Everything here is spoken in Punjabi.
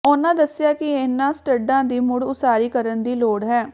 ਉਨ੍ਹਾਂ ਦੱਸਿਆ ਕਿ ਇਨ੍ਹਾਂ ਸਟੱਡਾਂ ਦੀ ਮੁੜ ਉਸਾਰੀ ਕਰਨ ਦੀ ਲੋੜ ਹੈ